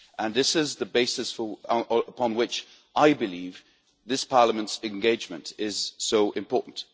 That is the basis upon which I believe this Parliament's engagement is so important.